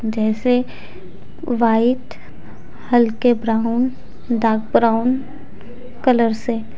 जैसे व्हाइट हल्के brown dark brown colour से--